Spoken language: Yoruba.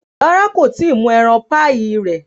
Rárá, kò tí ì mú ẹran píì rẹ̀